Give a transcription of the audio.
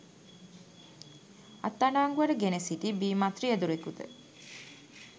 අත්අඩංගුවට ගෙන සිටි බීමත් රියදුරෙකුද